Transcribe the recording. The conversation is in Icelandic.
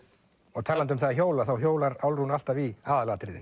og talandi um það að hjóla þá hjólar Álfrún alltaf í aðalatriðin